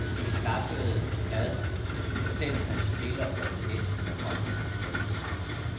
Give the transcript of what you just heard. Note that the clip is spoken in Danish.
De klappede ad ham, selv om han spiller for det gæstende hold.